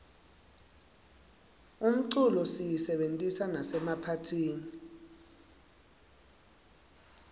umculo siyisebentisa nasemaphatihni